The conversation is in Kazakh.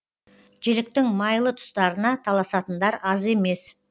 жіліктің майлы тұстарына таласатындар аз емес